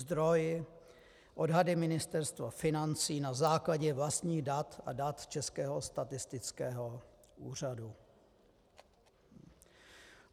Zdroj: Odhady Ministerstva financí na základě vlastních dat a dat Českého statistického úřadu.